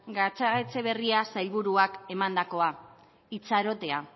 gatzagaetxeberria sailburuak emandakoa itxarotea